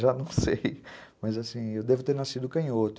Já não sei, mas assim, eu devo ter nascido canhoto.